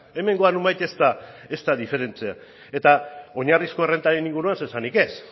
hemengoa nonbait ez da diferentea eta oinarrizko errentaren inguruan zer esanik ez